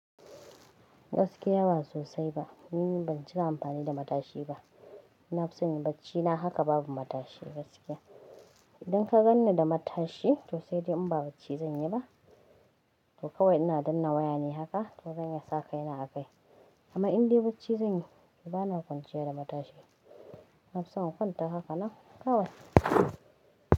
Gaskiya ba sosai ba, ni ban cika amfani da matashi ba. Na fusan bacci na haka babu matashi gaskiya. Idan ka ganni da matashi to sai dai in ba bacci zan yi ba. To kawai ina danna waya ne haka ka zan sa kaina a kai. Amma in dai bacci zan yi bana kwanciya da matashi. Nafison inkwanta haka nan kawai.